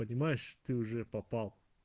понимаешь ты уже попал